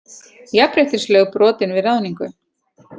Jafnréttislög brotin við ráðningu